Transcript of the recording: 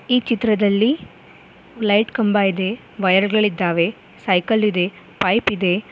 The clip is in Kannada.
ಈ ಚಿತ್ರದಲ್ಲಿ ಲೈಟ್ ಕಂಬ ಇದೆ ವಯರ್ ಗಳಿದ್ದಾವೆ ಸೈಕಲ್ ಇದೆ ಪೈಪ್ ಇದೆ.